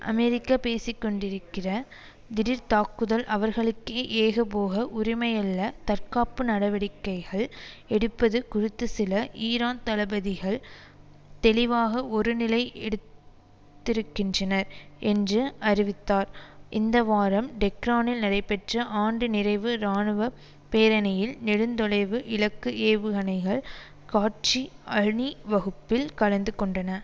அமெரிக்க பேசிக்கொண்டிருக்கிற திடீர்த்தாக்குதல் அவர்களுக்கே ஏகபோக உரிமையல்ல தற்காப்பு நடவடிக்கைகள் எடுப்பது குறித்துசில ஈரான் தளபதிகள் தெளிவாக ஒரு நிலை எடுத்திருக்கின்றனர் என்று அறிவித்தார் இந்த வாரம் டெஹ்ரானில் நடைபெற்ற ஆண்டு நிறைவு இராணுவ பேரணியில் நெடுந்தொலைவு இலக்கு ஏவுகணைகள் காட்சி அணி வகுப்பில் கலந்து கொண்டன